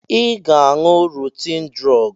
Ị ga-aṅụ rotin drọọgụ!